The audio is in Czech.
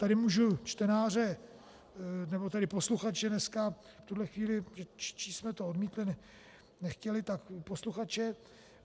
Tady můžu čtenáře, nebo tedy posluchače dneska, v tuhle chvíli, číst jsme to odmítli, nechtěli, tak posluchače .